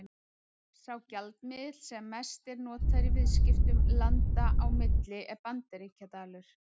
Sá gjaldmiðill sem mest er notaður í viðskiptum landa á milli er Bandaríkjadalur.